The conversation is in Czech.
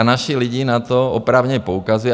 A naši lidé na to oprávněně poukazují.